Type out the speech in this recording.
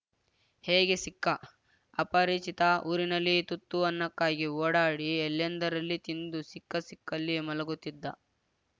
ಹೇಗೆ ಸಿಕ್ಕ ಅಪರಿಚಿತ ಊರಿನಲ್ಲಿ ತುತ್ತು ಅನ್ನಕ್ಕಾಗಿ ಓಡಾಡಿ ಎಲ್ಲೆಂದರಲ್ಲಿ ತಿಂದು ಸಿಕ್ಕ ಸಿಕ್ಕಲ್ಲಿ ಮಲಗುತ್ತಿದ್ದ